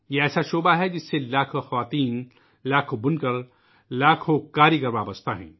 یہ ایسا شعبہ ہے ، جس سے لاکھوں خواتین ، لاکھوں بنکر ، لاکھوں دست کار جڑے ہوئے ہیں